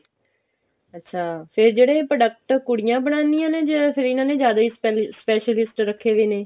ਅੱਛਾ ਫੇਰ ਜਿਹੜੇ ਇਹ product ਕੁੜੀਆਂ ਬਨਾਣੀਆਂ ਨੇ ਜਾਂ ਫਿਰ ਇਹਨਾ ਨੇ ਜ਼ਿਆਦਾ ਹੀ ਸ੍ਪੇਲੀ specialist ਰੱਖੇ ਵੇ ਨੇ